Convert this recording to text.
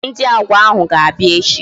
Mba, Ndị Agwa ahụ ga-abịa echi